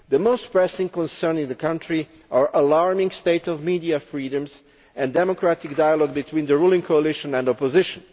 The most pressing concerns in the country are the alarming state of media freedom and democratic dialogue between the ruling coalition and the opposition.